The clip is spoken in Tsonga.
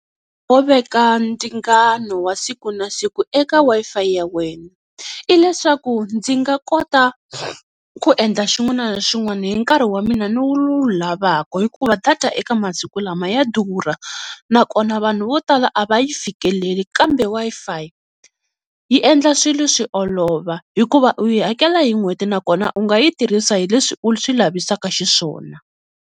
Wo veka ndzingano wa siku na siku eka Wi-Fi ya wena, i leswaku ndzi nga kota ku endla xin'wana na xin'wana hi nkarhi wa mina lowu ni wu lavaku, hikuva data eka masiku lawa ya durha, nakona vanhu vo tala a va yi fikeleli. Kambe Wi-Fi yi endla swilo swi olova hikuva u yi hakela hi n'hweti nakona u nga yi tirhisa hi leswi u swi lavisaka xiswona.